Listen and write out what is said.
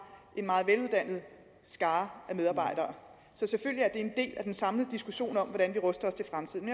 en meget veluddannet skare af medarbejdere så selvfølgelig er det en del af den samlede diskussion om hvordan vi ruster os til fremtiden